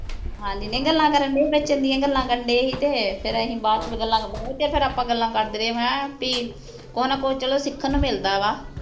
ਹਾਂ ਜਿਨੀਆਂ ਗੱਲਾਂ ਕਰਨ ਡਏ ਸੀ ਵਿੱਚ ਚੰਗੀਆਂ ਗੱਲਾਂ ਕਰਨ ਡਏ ਸੀ ਤੇ ਫੇਰ ਅਸੀਂ ਬਾਅਦ ਚ ਵੀ ਗੱਲਾਂ ਵਾਵਾ ਚਿਰ ਆਪਾਂ ਗੱਲਾਂ ਕਰਦੇ ਰਹੇ ਮੈਂ ਕਿਹਾ ਬੀ ਚਲੋ ਕੁਛ ਨਾ ਕੁਛ ਚਲੋ ਸਿੱਖਣ ਨੂੰ ਮਿਲਦਾ ਵਾ